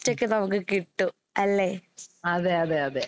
ഉം. അതെ അതെ അതെ.